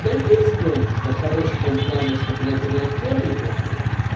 да и в принципе он типа хорош в том плане что блять он актёр неплохой